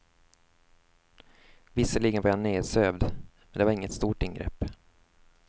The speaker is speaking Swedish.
Visserligen var jag nersövd, men det var inget stort ingrepp.